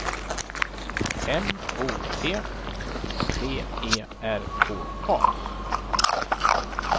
M O T V E R K A